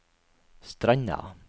Stranda